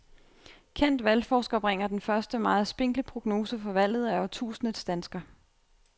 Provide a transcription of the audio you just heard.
Kendt valgforsker bringer den første meget spinkle prognose for valget af årtusindets dansker.